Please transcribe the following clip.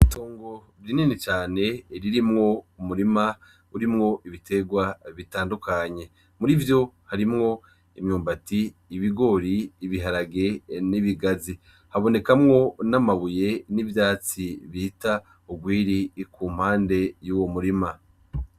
Itongo rinini cane ririmwo umurima urimwo ibitegwa bitandukanye murivyo harimwo imyumbati, ibigori, ibiharage, n' ibigazi habonekamwo n' amabuye n' ivyatsi bita ugwiri kumpande yuwo murima.